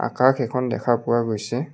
আকাশ এখন দেখা পোৱা গৈছে।